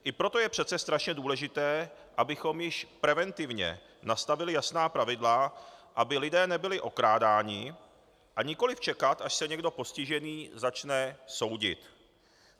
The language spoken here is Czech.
I proto je přece strašně důležité, abychom již preventivně nastavili jasná pravidla, aby lidé nebyli okrádáni, a nikoliv čekat, až se někdo postižený začne soudit.